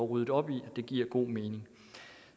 ryddet op i og det giver god mening